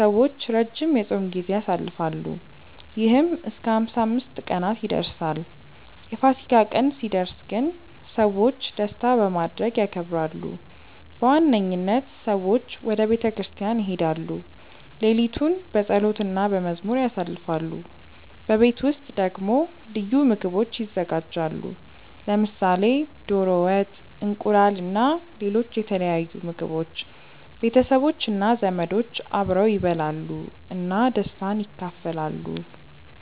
ሰዎች ረጅም የጾም ጊዜ ያሳልፋሉ፣ ይህም እስከ 55 ቀናት ይደርሳል። የፋሲካ ቀን ሲደርስ ግን ሰዎች ደስታ በማድረግ ያከብራሉ። በዋነኝነት ሰዎች ወደ ቤተ ክርስቲያን ይሄዳሉ፣ ሌሊቱን በጸሎት እና በመዝሙር ያሳልፋሉ። በቤት ውስጥ ደግሞ ልዩ ምግቦች ይዘጋጃሉ፣ ለምሳሌ ዶሮ ወጥ፣ እንቁላል እና ሌሎች የተለያዩ ምግቦች። ቤተሰቦች እና ዘመዶች አብረው ይበላሉ እና ደስታን ይካፈላሉ።